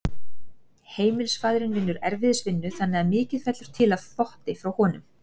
Heimilisfaðirinn vinnur erfiðisvinnu þannig að mikið fellur til af þvotti frá honum.